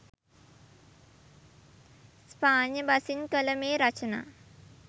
ස්පාඤ්ඤ බසින් කළ මේ රචනා